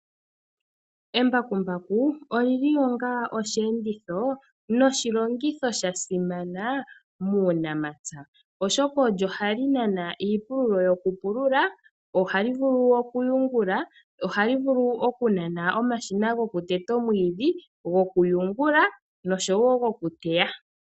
Embakumbaku olyili onga oshiyenditho noshilongitho shasimana muunamapya. Oshoka olyo hali nana iipululo yokupulula, ohali vulu woo okuyungula, ohali vulu okunana omashina goku teta omwiidhi, goku yungula nosho wo goku teya.